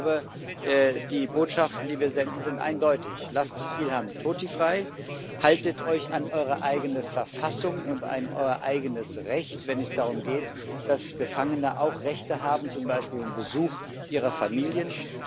Ich glaube, die Botschaften, die wir senden, sind eindeutig Lasst Ilham Tohti frei! Haltet euch an eure eigene Verfassung und an euer eigenes Recht, wenn es darum geht, dass Gefangene auch Rechte haben, zum Beispiel den Besuch ihrer Familien.